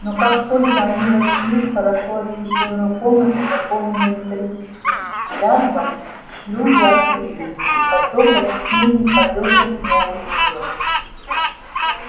но как только они вошли в хорошо освещённую комнату наполненную металлическим лязгом шлюзы открылись и поток объяснений полился с новой силой